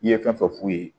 I ye fɛn fɛn f'u ye